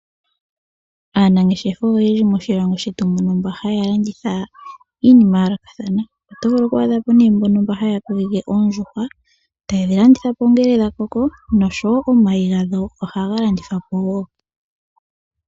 Aanangeshefa oyendji moshilongo shetu muno mba haya landitha iinima ya yoolokathana. Oto vulu oku adhapo mbono haya kokeke oondjuhwa etaye dhi landitha ngele dha koko noshowo omayi ohaga landithwapo wo.